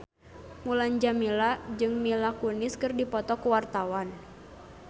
Mulan Jameela jeung Mila Kunis keur dipoto ku wartawan